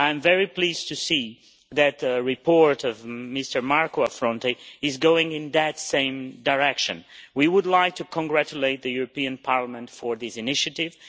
I am very pleased to see that the report by Mr Marco Affronte is going in that same direction. We would like to congratulate the European Parliament for this initiative.